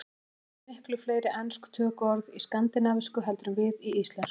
Þið hafið miklu fleiri ensk tökuorð í skandinavísku heldur en við í íslensku.